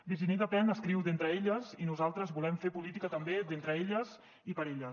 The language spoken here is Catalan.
virginie despentes escriu d’entre elles i nosaltres volem fer política també d’entre elles i per a elles